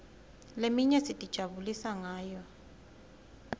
leminye sitijabulisa ngayo